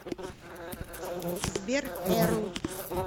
сбер эрл